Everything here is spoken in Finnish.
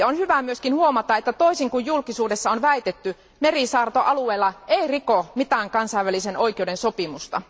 On hyvä myös huomata, että toisin kuin julkisuudessa on väitetty, merisaarto alueella ei riko mitään kansainvälisen oikeuden sopimusta.